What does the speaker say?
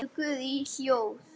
Biður guð í hljóði.